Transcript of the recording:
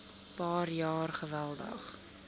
paar jaar geweldig